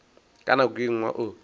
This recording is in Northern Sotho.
ka nako ye nngwe o